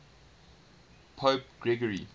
pope gregory